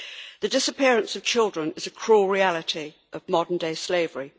The disappearance of children is a cruel reality of modern day slavery.